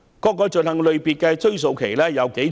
各項罪行的追溯期有多長？